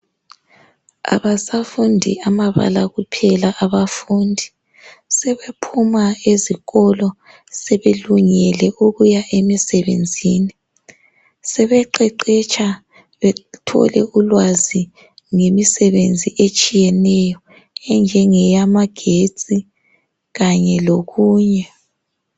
Abasafundi amabala kuphela ebafundi. Sebephuma ezikolo sebelungele ukuya emisebenzini. Sebeqeqetsha bethole ulwazi ngemisebenzi etshiyeneyo enjengeyamagetsi kanye lokunye.